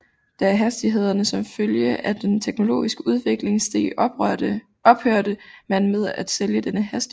Da hastighederne som følge af den teknologiske udvikling steg ophørte man med at sælge denne hastighed